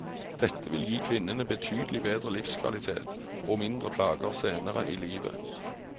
Dette vil gi kvinnene betydelig bedre livskvalitet, og mindre plager senere i livet.